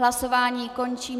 Hlasování končím.